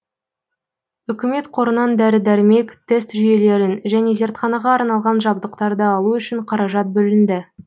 үкімет қорынан дәрі дәрмек тест жүйелерін және зертханаға арналған жабдықтарды алу үшін қаражат бөлінді